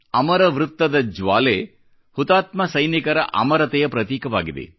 ಅಮರ ಚಕ್ರದ ಜ್ವಾಲೆ ಹುತಾತ್ಮ ಸೈನಿಕರ ಅಮರತೆಯ ಪ್ರತೀಕವಾಗಿದೆ